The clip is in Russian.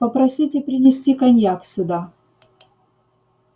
попросите принести коньяк сюда